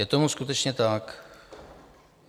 Je tomu skutečně tak?